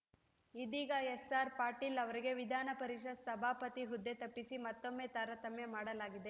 ಇದೀಗ ಎಸ್‌ಆರ್‌ ಪಾಟೀಲ್‌ ಅವರಿಗೆ ವಿಧಾನಪರಿಷತ್‌ ಸಭಾಪತಿ ಹುದ್ದೆ ತಪ್ಪಿಸಿ ಮತ್ತೊಮ್ಮೆ ತಾರತಮ್ಯ ಮಾಡಲಾಗಿದೆ